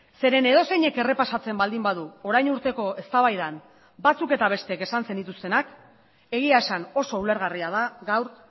zeren edozeinek errepasatzen baldin badu orain urteko eztabaidan batzuk eta besteek esan zenituztenak egia esan oso ulergarria da gaur